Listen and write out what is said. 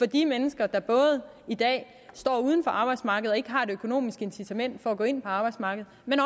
de mennesker der i dag står uden for arbejdsmarkedet og ikke har et økonomisk incitament for at gå ind på arbejdsmarkedet